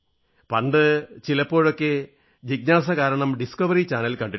പണ്ട് ചിലപ്പോഴൊക്കെ ജിജ്ഞാസ കാരണം ഡിസ്കവറി ചാനൽ കണ്ടിരുന്നു